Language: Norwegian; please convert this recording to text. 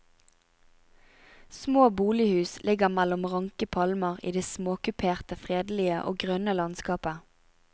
Små bolighus ligger mellom ranke palmer i det småkuperte, fredelige og grønne landskapet.